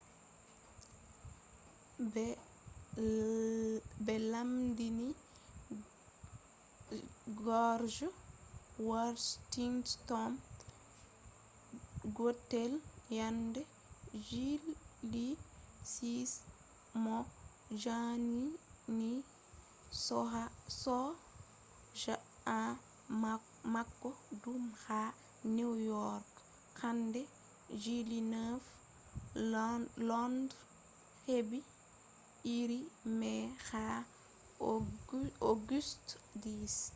be lendini george washington gotel yende july 6 mo jangini soja en mako dum ha new york yende july 9. london hebi iri mai ha august 10